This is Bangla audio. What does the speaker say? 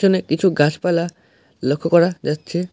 এখানে কিছু গাছপালা লক্ষ্য করা যাচ্ছে।